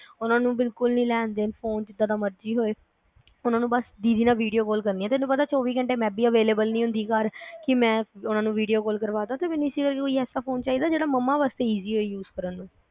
ਉਨ੍ਹਾਂ ਨੂੰ ਬਿਲਕੁਲ ਨੀ ਲੈਣ-ਦੇਣ ਫੋਨ ਜਿਦਾ ਦਾ ਮਰਜੀ ਹੋਵੇ ਉਨ੍ਹਾਂ ਨੂੰ ਬਸ ਦੀਦੀ ਨਾਲ ਵੀਡੀਓ ਕਾਲ ਕਰਨੀਆ ਤੈਨੂੰ ਪਤਾ ਚੌਵੀ ਘੰਟੇ ਮੈ ਵੀ available ਨਹੀ ਹੁੰਦੀ ਘਰ ਕੀ ਮੈ ਉਨ੍ਹਾਂ ਨੂੰ ਵੀਡੀਓ ਕਾਲ ਕਰਵਾਂਦਾ ਤੇ ਇਸੇ ਕਰਕੇ ਕੋਈ ਐਸਾ ਫੋਨ ਚਾਹੀਦਾ ਜਿਹੜਾ ਮਮਾਂ ਵਾਸਤੇ easy ਹੋਵੇ use ਕਰਨ ਲਈ